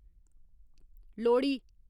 Lohri